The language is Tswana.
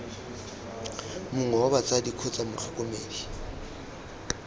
mongwe wa batsadi kgotsa motlhokomedi